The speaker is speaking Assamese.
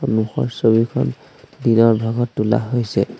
সন্মুখৰ ছবিখন দিনৰ ভাগত তোলা হৈছে।